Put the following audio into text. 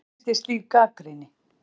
Hvernig finnst þér slík gagnrýni?